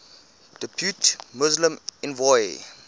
depute muslim envoy